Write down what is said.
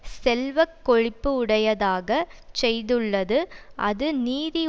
செல்வ கொழிப்பு உடையதாகச் செய்துள்ளது அது நிதி